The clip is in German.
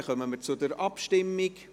Dann kommen wir zur Abstimmung.